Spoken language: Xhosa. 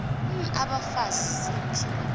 n abafazi ziphi